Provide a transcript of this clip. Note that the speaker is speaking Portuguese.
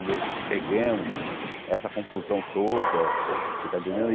Logo, chegamos, essa confusão toda, você tá entendendo?